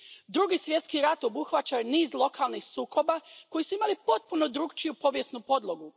Drugi svjetski rat obuhvaća niz lokalnih sukoba koji su imali potpuno drukčiju povijesnu podlogu.